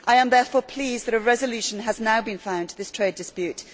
I am therefore pleased that a resolution has now been found to this trade dispute.